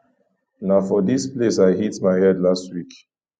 na for dis place i hit my head last week